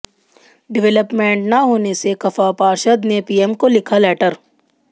development न होने से खफा पार्षद ने पीएम को लिखा लेटर